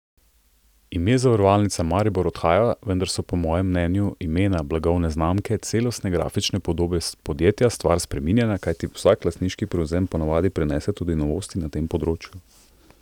Ime Zavarovalnica Maribor odhaja, vendar so po mojem mnenju imena, blagovne znamke, celostne grafične podobe podjetja stvar spreminjanja, kajti vsak lastniški prevzem ponavadi prinese tudi novosti na tem področju.